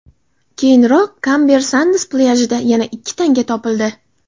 Keyinroq Kamber Sands plyajida yana ikki tana topildi.